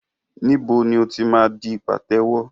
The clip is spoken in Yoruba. Níbo ni o ti máa di pàtẹ́wọ́?